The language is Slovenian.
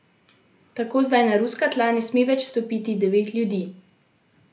Tako zdaj na ruska tla ne sme več stopiti devet ljudi.